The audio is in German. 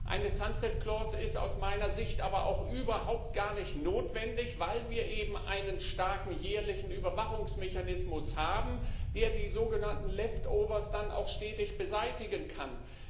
Eine sunset clause ist aus meiner Sicht aber auch überhaupt gar nicht notwendig, weil wir eben einen starken jährlichen Überwachungsmechanismus haben, der die sogenannten Left overs dann auch stetig beseitigen kann.